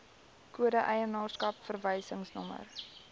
kode eienaarskap verwysingsnommer